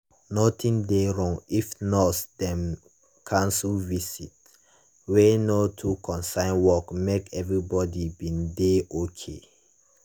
nothing dey wrong if nurse dem cancel visit wey no too concern work make everybody bin dey okay.